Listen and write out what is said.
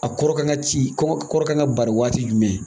Ka kɔrɔ k'an ka ci, kɔ kɔrɔ k'an ka baari waati jumɛn?